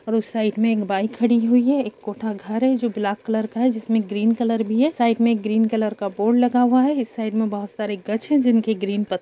और उस साइड मे एक बाइक खड़ी हुई है एक कोठा घर है जो ब्लैक कलर का है जिसमे ग्रीन कलर भी है साइड मे ग्रीन कलर का बोर्ड लगा हुआ है इस साइड मे बहुत सारे गच्छ है जिनके ग्रीन पत्ते --